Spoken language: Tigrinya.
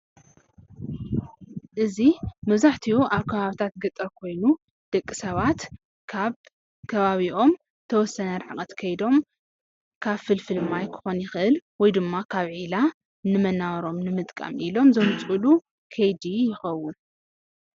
እዚ መብዛሕትኡ ኣብ ከባቢታት ገጠር ኮይኑ ደቂ ሰባት ካብ ከባቢኦም ተወሰነ ርሕቐት ከይዶም ከብ ፍልፍል ማይ ክኮን ይክእል ወይ ድማ ካብ ዒላ መነባብርኦም ንምጥቃም ኢሎም ዘምፅእሉ ከይዲ ይኸውን፡፡